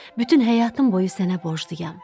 Bütün həyatım boyu sənə borcluyam.